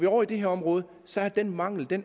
ovre i det her område så er den mangel der